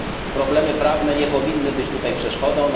Problemy prawne nie powinny być w tym przeszkodą.